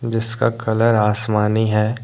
जिसका कलर आसमानी है।